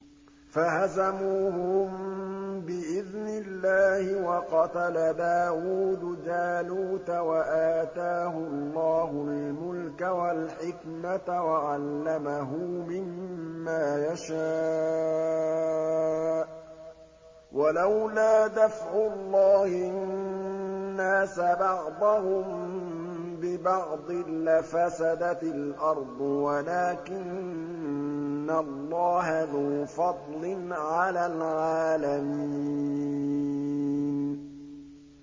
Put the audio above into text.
فَهَزَمُوهُم بِإِذْنِ اللَّهِ وَقَتَلَ دَاوُودُ جَالُوتَ وَآتَاهُ اللَّهُ الْمُلْكَ وَالْحِكْمَةَ وَعَلَّمَهُ مِمَّا يَشَاءُ ۗ وَلَوْلَا دَفْعُ اللَّهِ النَّاسَ بَعْضَهُم بِبَعْضٍ لَّفَسَدَتِ الْأَرْضُ وَلَٰكِنَّ اللَّهَ ذُو فَضْلٍ عَلَى الْعَالَمِينَ